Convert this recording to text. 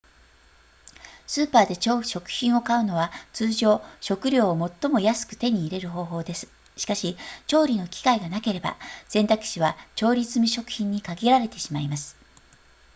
スーパーで食品を買うのは通常食料を最も安く手に入れる方法ですしかし調理の機会がなければ選択肢は調理済み食品に限られてしまいます